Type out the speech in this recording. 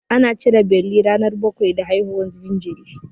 Ana cire beli ranar bakwai da haihuwar jinjiri.